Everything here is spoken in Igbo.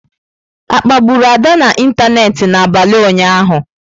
A kpagburu Ada n'ịntanetị n'abalị ụnyaahụ?